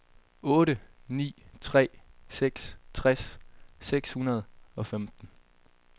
otte ni tre seks tres seks hundrede og femten